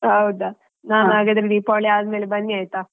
ಹೌದಾ ಹಾಗಾದ್ರೆ ದೀಪಾವಳಿ ಆದ್ಮೇಲೆ ಬನ್ನಿ ಅಯ್ತಾ.